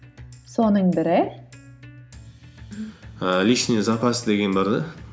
соның бірі ііі лишний запас деген бар да